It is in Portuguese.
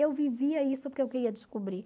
Eu vivia isso porque eu queria descobrir.